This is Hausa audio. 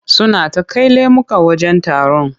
Suna ta kai lemuka wajen taron.